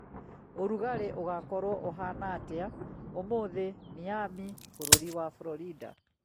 ũrugarĩ ũgokorwo uhana atĩa ũmũthĩ Miami, bũrũri wa Florida